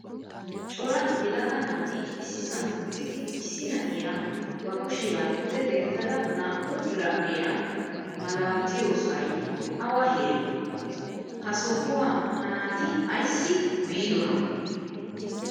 Cora yelaga naati issisan uttidi issi na'iyaa ba kushiyaa pude denttada naa'u biradhdhiyaa malatiyosay awa heere? Ha suwaa ha naati ayssi biidona?